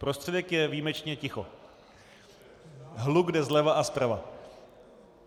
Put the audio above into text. Prostředek je výjimečně ticho, hluk jde zleva a zprava.